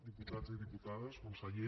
diputats i diputades conseller